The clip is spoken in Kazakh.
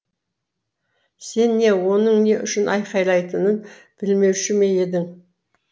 сен не оның не үшін айқайлайтынын білмеуші ме едің